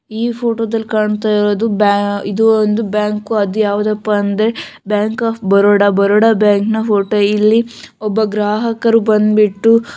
ಈ ಫೊಟೊದಲ್ಲಿ ಕಾಣ್ತಾ ಇರೋದು ಬ್ಯಾ ಇದು ಒಂದು ಬ್ಯಾಂಕು ಅದು ಯಾವುದಪ್ಪ ಅಂದ್ರೆ bank of Baroda Baroda bank ನ್‌ ಫೊಟೊ ಇಲ್ಲಿ ಒಬ್ಬ ಗ್ರಾಹಕರು ಬಂದ್ಬಿಟ್ಟು --